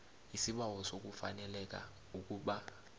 isibawo sokufaneleka ukuba